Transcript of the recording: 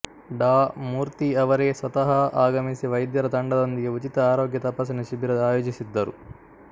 ಡಾ ಮೂರ್ತಿ ಅವರೇ ಸ್ವತಃ ಆಗಮಿಸಿ ವೈದ್ಯರ ತಂಡದೊಂದಿಗೆ ಉಚಿತ ಆರೋಗ್ಯ ತಪಾಸಣೆ ಶಿಬಿರ ಆಯೋಜಿಸಿದ್ದರು